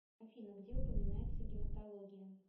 афина где упоминается гематология